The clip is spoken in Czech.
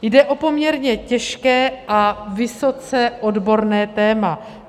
Jde o poměrně těžké a vysoce odborné téma.